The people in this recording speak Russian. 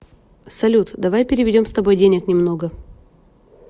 салют давай переведем с тобой денег немного